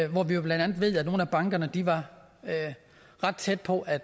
hvor vi blandt andet ved at nogle af bankerne var ret tæt på at